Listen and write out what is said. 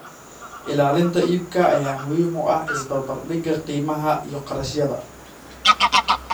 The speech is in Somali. Ilaalinta iibka ayaa muhiim u ah isbarbardhigga qiimaha iyo kharashyada.